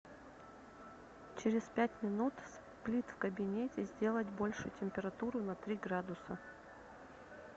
через пять минут сплит в кабинете сделать больше температуру на три градуса